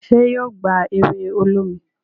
ṣe yíò gbá ewe olómi?